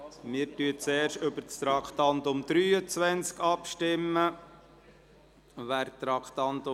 Zuerst führen wir die Abstimmung zum Traktandum 23 durch.